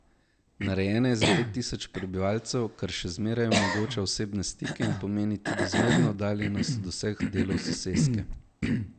Narejena je za pet tisoč prebivalcev, kar še zmeraj omogoča osebne stike in pomeni tudi zmerno oddaljenost od vseh delov soseske.